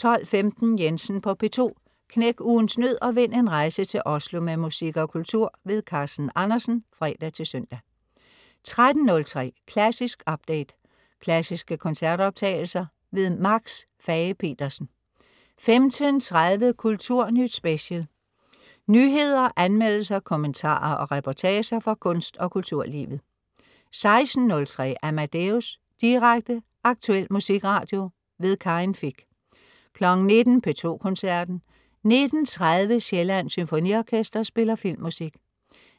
12.15 Jensen på P2. Knæk ugens nød og vind en rejse til Oslo med musik og kultur. Carsten Andersen (fre-søn) 13.03 Klassisk update. Klassiske koncertoptagelser. Max Fage-Pedersen 15.30 Kulturnyt Special. Nyheder, anmeldelser, kommentarer og reportager fra kunst- og kulturlivet 16.03 Amadeus. Direkte, aktuel musikradio. Karin Fich 19.00 P2 Koncerten. 19.30 Sjællands Symfoniorkester spiller filmmusik.